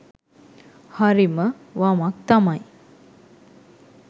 හරිම වමක් තමයි